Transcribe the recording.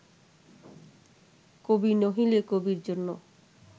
কবি নহিলে কবির জন্য